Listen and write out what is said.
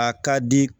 A ka di